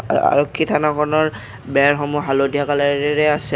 আৰক্ষী থানাখনৰ বেৰসমূহ হালধীয়া কালাৰেৰে আছে।